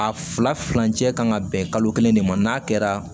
A filacɛ kan ka bɛn kalo kelen de ma n'a kɛra